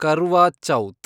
Karva Chauth